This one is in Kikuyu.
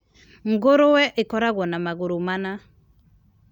Ngũrũe ikoragwo na magũrũ mana.